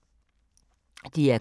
DR K